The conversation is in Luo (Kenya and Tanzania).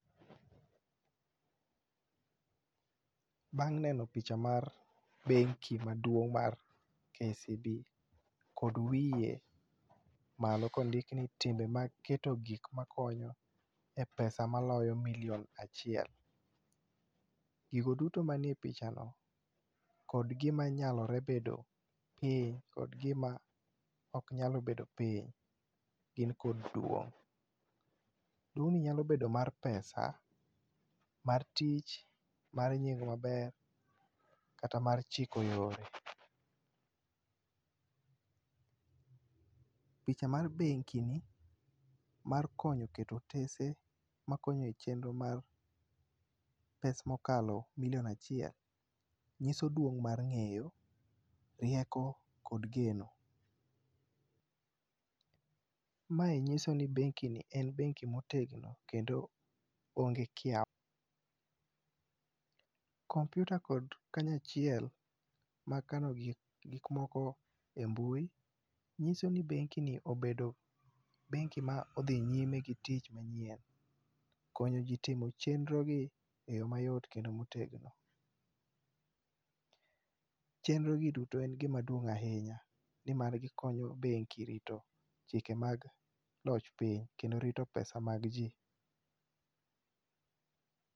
Bang' neno picha mar bengi maduong' mar KCB, kod wiye malo kondiki ni timbe mag keto gik makonyo e pesa maloyo milion achiel. Gigo duto manie pichano kod gima nyalore bedo piny kod gima ok nyalore bedo piny, gin kod duong.' Duong' nyalo bedo mar pesa , mar tich, mar nying maber kata mar chiko yore. Picha mar bengini mar konyo keto otese makonyo e chenro mar pes mokalo milion achiel nyiso duong' mar ng'eyo rieko kod geno. Mae nyiso ni bengini en benki motegno kendo onge kiawa. Kompiuta kod kanya achiel mag kano gik moko e mbui nyiso ni bengini en bengi modhi nyime gi tich manyien, konyo ji timo chenrogi eyo mayot kendo motegno. Chenro gi duto en gima duong' ahinya nimar gikonyo bengi rito chike mag loch piny kendo rito pesa mag ji.